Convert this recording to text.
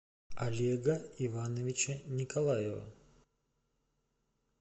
олега ивановича николаева